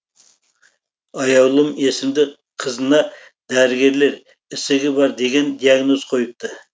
аяулым есімді қызына дәрігерлер ісігі бар деген диагноз қойыпты